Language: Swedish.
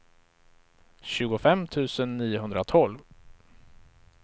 tjugofem tusen niohundratolv